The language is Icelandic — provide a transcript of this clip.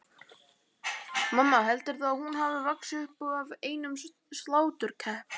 Mamma, heldurðu að hún hafi vaxið upp af einum sláturkeppnum?